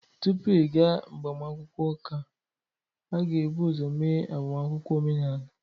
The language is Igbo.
Tupu ịga agbamakwụkwọ ụka, a ga-ebu ụzọ mee agbamakwụkwọ omenala.